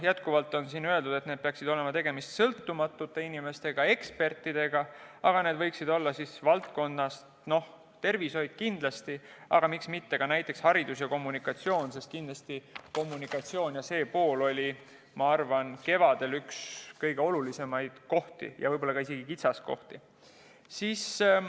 Jätkuvalt on siin öeldud, et tegemist peaks olema sõltumatute inimestega, ekspertidega, aga need võiksid olla tervishoiu valdkonnast kindlasti, aga miks mitte ka näiteks hariduse ja kommunikatsiooni valdkonnast, sest kindlasti kommunikatsiooni pool oli kevadel üks kõige olulisemaid kohti, ja võib-olla isegi kitsaskohti.